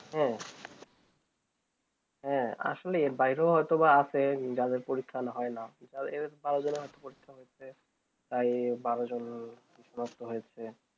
হ্যাঁ হ্যাঁ আসলে বাইরও হয়ত বা আছে যাদের পরীক্ষণ হয়ে না তাই বারো জন নষ্ট হয়েছে